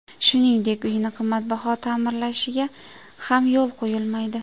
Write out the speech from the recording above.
Shuningdek, uyini qimmatbaho ta’mirlashiga ham yo‘l qo‘yilmaydi.